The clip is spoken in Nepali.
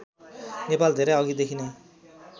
नेपाल धेरै अघिदेखि नै